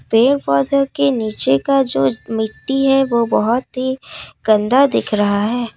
पेड़ पौधों के नीचे का जो मिट्टी है वह बहुत ही गंदा दिख रहा है।